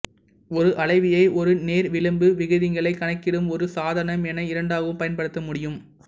ஒரு அளவியை ஒரு நேர்விளிம்பு விகிதங்களை கணக்கிடும் ஒரு சாதனம் என இரண்டாகவும் பயன்படுத்த முடியும்